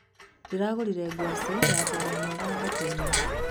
Ndĩragũrire ngwacĩ na thogora mwega thokoinĩ.